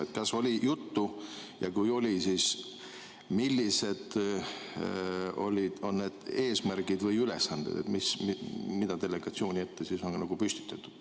Kas sellest oli juttu ja kui oli, siis millised on need eesmärgid või ülesanded, mis on delegatsioonile püstitatud?